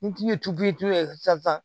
N tun ye tubiyi sisan